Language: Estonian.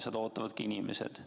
Seda ootavad inimesed.